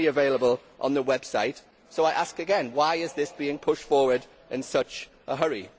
It is only available on the website so I ask again why is this being pushed forward in such a hurry?